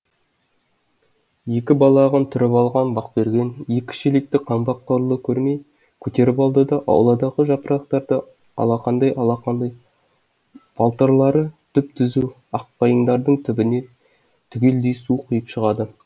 екі балағын түріп алған бақберген екі шелекті қаңбақ құрлы көрмей көтеріп алады да ауладағы жапырақтарыды алақандай алақандай балтырлары түп түзу аққайыңдардың түбіне түгелдей су құйып шығады